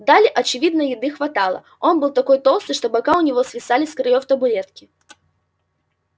дали очевидно еды хватало он был такой толстый что бока у него свисали с краёв табуретки